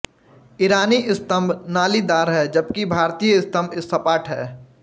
ईरानी स्तंभ नालीदार हैं जबकि भारतीय स्तंभ सपाट हैं